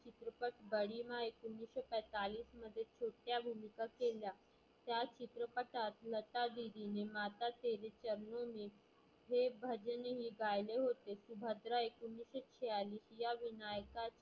कृपक बडी मॉं एकोणीसशे पैतालीसमध्ये छोट्या भुमीका केल्या. त्या चित्रपटात लता दिदीनी माता तेरी चरणो हे भजन ही गायले होते. सुभद्रा एकोणीसशे छेयालीस या विनायकाच्या